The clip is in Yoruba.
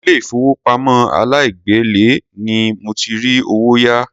Ilé ìfowópamọ́ aláìgbèlé ni mo ti rí owó yá.